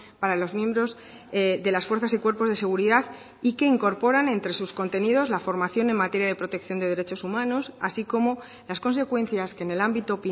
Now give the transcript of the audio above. para los miembros de las fuerzas y cuerpos de seguridad y que incorporan entre sus contenidos la formación en materia de protección de derechos humanos así como las consecuencias que en el ámbito